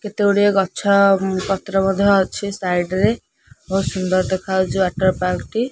କେତେ ଗୁଡିଏ ଗଛ ଉଁ ପତ୍ର ମଧ୍ୟ ଅଛି ସାଇଡ୍ ରେ ବହୁତ ସୁନ୍ଦର ଦେଖାହଉଚୁ ୱାଟର ପାର୍କ ଟି।